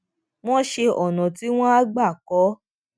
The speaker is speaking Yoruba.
wón ṣe ònà tí wón á gbà kó